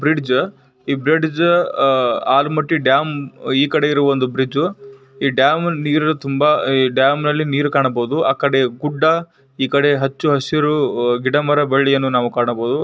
ಈ ಬ್ರಿಡ್ಜ ಈ bridge Almatti dam ಈ ಕಡೆ ಒಂದು ಬ್ರಿಡ್ಜು . ಈ ಡ್ಯಾಮ ನೀರು ತುಂಬಾ ಈ ಡ್ಯಾಮ ನಲ್ಲಿ ನೀರು ಕಾಣಬಹುದು ಗಿಡ ಈ ಕಡೆ ಹಚ್ಚ ಹಸಿರು ಗಿಡ ಮರ ಬಳ್ಳಿಗಳನ್ನು ನಾವು ಕಾಣಬಹುದು.